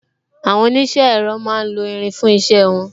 Àwọn onise ẹ̀rọ máa ń lo irin fún isẹ won